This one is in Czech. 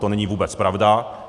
To není vůbec pravda.